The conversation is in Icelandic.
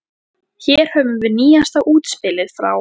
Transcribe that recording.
Hér höfum við nýjasta útspilið frá